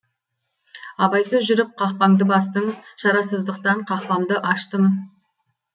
абайсыз жүріп қақпанды бастың шарасыздықтан қақпамды аштым